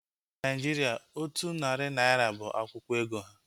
Na Naịjirịa, otu narị naira bụ akwụkwọ ego ha